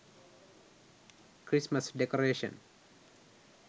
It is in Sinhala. christmas decoration